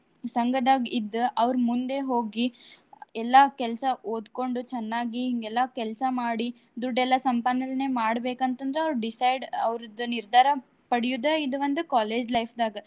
ಸಂಗ್ದಾಗ್ ಇದ್ದ ಅವ್ರ ಮುಂದೇ ಹೋಗಿ ಎಲ್ಲಾ ಕೆಲ್ಸಾ ಓದ್ಕೊಂಡು ಚನ್ನಾಗಿ, ಹಿಂಗ್ ಎಲ್ಲಾ ಕೆಲ್ಸಾ ಮಾಡಿ ದುಡ್ಡೇಲ್ಲ ಸಂಪಾದನೆ ಮಾಡ್ಬೇಕಂತಂದ್ರ ಅವ್ರ್ decide ಅವ್ರದ್ ನಿರ್ಧಾರ ಪಡ್ಯೋದ ಇದೊಂದು college life ದಾಗ.